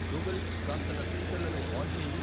Google కాస్త నా స్పీకర్లను ఆన్ చేయి